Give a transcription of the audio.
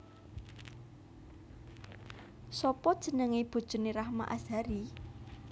Sopo jenenge bojone Rahma Azhari?